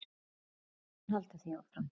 Ég mun halda því áfram.